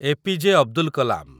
APJ. Abdul Kalam